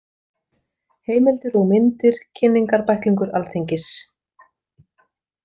Heimildir og myndir Kynningarbæklingur Alþingis.